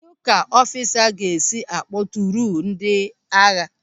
Kedụ ka ọfisa ga-esi akpọ tụụrụ ndị agha ya?